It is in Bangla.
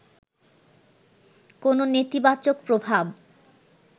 কোন নেতিবাচক প্রভাব